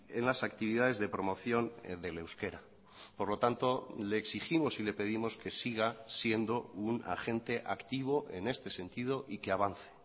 en las actividades de promoción del euskera por lo tanto le exigimos y le pedimos que siga siendo un agente activo en este sentido y que avance